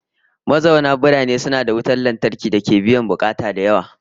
Mazauna birane suna da wutan lantarki dake biyan bukatu da yawa